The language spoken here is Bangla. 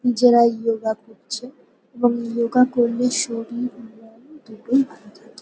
নিজেরাই ই-য়োগা করছে। এবং ই-য়োগা পড়লে শরীর মন দুটোই ভালো থাকে।